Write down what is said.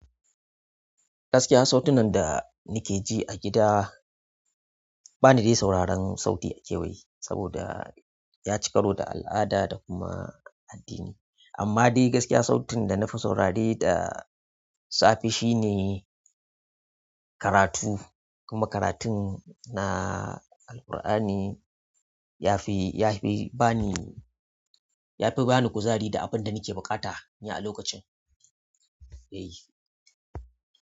Gaskiya sautunan da nike ji a gida bani dai sauraron sauti a kewaye saboda yaci karo da al'ada da kuma addini. Amma dai gaskiya sautin da nafi saurare da safe shine karatu kuma karatun na Alqur'ani yafi, yafi bani, yafi bani kuzari da abin da nike buƙata ni a lokacin. Eh.